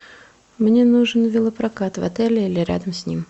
мне нужен велопрокат в отеле или рядом с ним